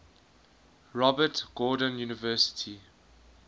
robert gordon university